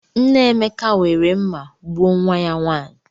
Nne Emeka were mma gbuo nwa ya nwanyị.